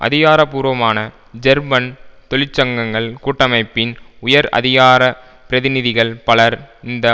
அதிகார பூர்வமான ஜெர்மன் தொழிற்சங்கங்ககள் கூட்டமைப்பின் உயர் அதிகார பிரதிநிதிகள் பலர் இந்த